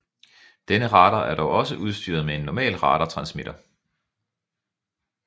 Denne radar er dog også udstyret med en normal radartransmitter